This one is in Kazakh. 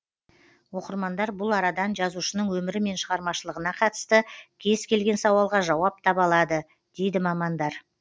оқырмандар бұл арадан жазушының өмірі мен шығармашылығына қатысты кез келген сауалға жауап таба алады дейді мамандар